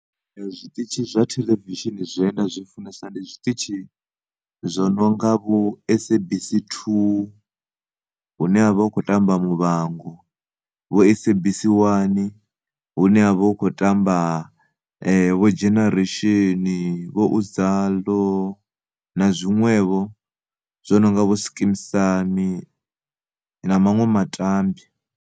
Zwiṱitshi zwa theḽevishini zwine nda zwi funesa ndi zwiṱitshi zwo no nga vho SABC 2 hune havha hu kho tamba Muvhango vho SABC 1 hune havha hu kho tamba vho Generation, vho Uzalo na zwinwevho zwo no nga vho Skeem Saam na maṅwe matambwa.